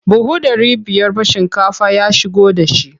Buhu ɗari biyar ba shinkafa ya shigo da shi.